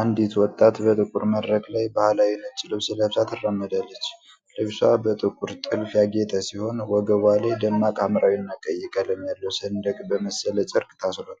አንዲት ወጣት በጥቁር መድረክ ላይ ባህላዊ ነጭ ልብስ ለብሳ ትራመዳለች። ልብሷ በጥቁር ጥልፍ ያጌጠ ሲሆን፣ ወገቧ ላይ ደማቅ ሐምራዊና ቀይ ቀለም ያለው ሰንደቅ በመሰለ ጨርቅ ታስሯል።